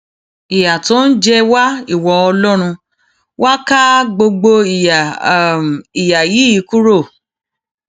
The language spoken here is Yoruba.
ìyà tó ń jẹ wá ìwọ ọlọrun wàá ká gbogbo ìyà ìyà yìí kúrò